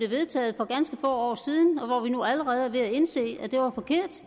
vedtaget for ganske få år siden og nu er vi allerede er ved at indse at